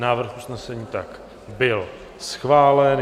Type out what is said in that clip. Návrh usnesení byl schválen.